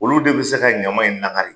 Olu de bɛ se ka ɲama in lakari